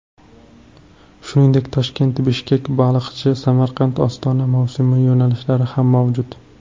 Shuningdek, ToshkentBishkekBaliqchi, SamarqandOstona mavsumiy yo‘nalishlari ham mavjud.